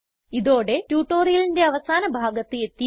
ഇതോടെ ട്യൂട്ടോറിയലിന്റെ അവസാന ഭാഗത്ത് എത്തിയിരിക്കുന്നു